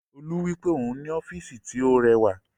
Olú wípé òhun ní ọ́físì tí ó rẹwà